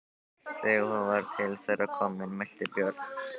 Þegar hún var til þeirra komin mælti Björn: